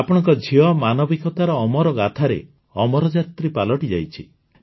ଆପଣଙ୍କ ଝିଅ ମାନବିକତାର ଅମରଗାଥାରେ ଅମରଯାତ୍ରୀ ପାଲଟିଯାଇଛି